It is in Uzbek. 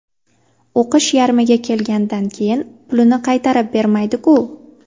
O‘qish yarmiga kelganidan keyin pulini qaytarib bermaydi-ku.